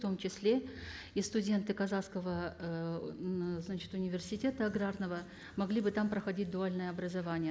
в том числе и студенты казахского ыыы значит университета аграрного могли бы там проходить дуальное образование